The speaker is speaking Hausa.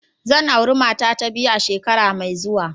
Zan auri matata ta biyu a shekara mai zuwa.